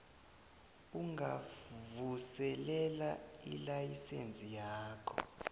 ungavuselela ilayisense yakho